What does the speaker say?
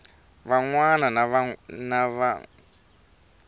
van wana va n wi